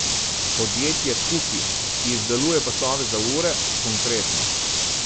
Podjetje Kuki, ki izdeluje pasove za ure, konkretno.